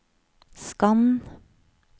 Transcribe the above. skann